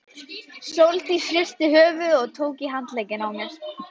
Sóldís hristi höfuðið og tók í handlegginn á mér.